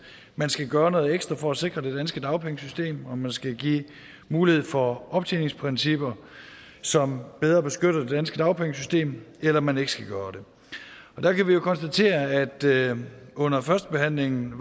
man skal gøre noget ekstra for at sikre det danske dagpengesystem om man skal give mulighed for optjeningsprincipper som bedre beskytter det danske dagpengesystem eller om man ikke skal gøre det og der kan vi konstatere at der under førstebehandlingen